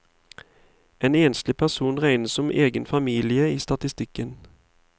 En enslig person regnes som egen familie i statistikken.